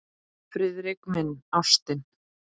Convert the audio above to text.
Friðrik minn, ástin.